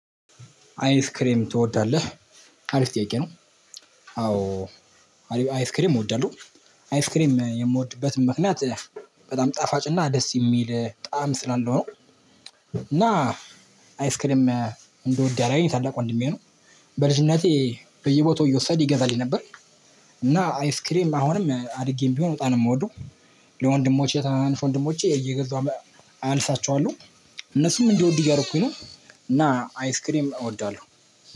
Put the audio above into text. አይስክሬም ትወዳለህ? አሪፍ ጥያቄ ነው። አዎ አይስክሬም እወዳለሁ። አይስክሬም የምወድበትም ምክንያት በጣም ጣፋጭና ደስ የሚል ጣዕም ስላለው ነው። እና አይስክሬም እንደውድ ያደረገኝ ታላቅ ወንድሜ ነው። በልጅነቴ በየቦታው እየወሰድኩ ይገዛልኝ ነበር። እና አይስክሬም አሁንም አድጌም ቢሆን በጣም ነው የምወደው። ለወንድሞቼ ለታናናሽ ወንድሞቼ እየገዛሁ አልሳቸዋለሁ እነሱም እንዲወዱ እያደረኩኝ ነው። እና አይስክሬም እወዳለሁ